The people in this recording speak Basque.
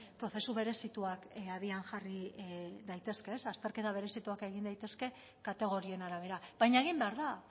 prozesu berezituak abian jarri daitezke ez azterketa berezituak egin daitezke kategorien arabera baina egin behar da